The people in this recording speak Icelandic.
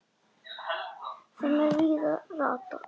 þeim er víða ratar